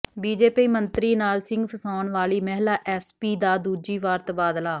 BJP ਮੰਤਰੀ ਨਾਲ ਸਿੰਗ ਫਸਾਉਣ ਵਾਲੀ ਮਹਿਲਾ ਐਸਪੀ ਦਾ ਦੂਜੀ ਵਾਰ ਤਬਾਦਲਾ